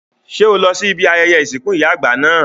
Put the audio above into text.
Ṣé o lọ sí ibi ayẹyẹ ìsìnkú ìyá àgbà náà?